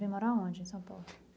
Vêm morar onde em São Paulo?